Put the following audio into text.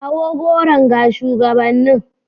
Kawo goron ga shugabannin.